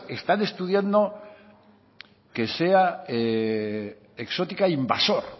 están estudiando que sea exótica invasor